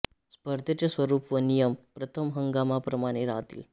स्पर्धेचे स्वरूप व नियम प्रथम हंगामा प्रमाणे राहतील